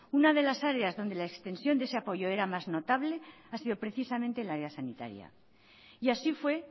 una de las áreas donde la extensión de ese apoyo era más notable ha sido precisamente la era sanitaria y así fue